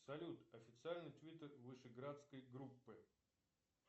салют официальный твиттер вышеградской группы